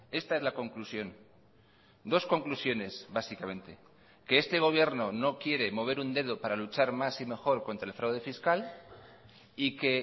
esta es la conclusión dos conclusiones básicamente que este gobierno no quiere mover un dedo para luchar más y mejor contra el fraude fiscal y que